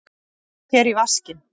Ég fer í vaskinn.